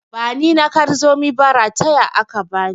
Bani na kar zomi ba, rataya aka bani.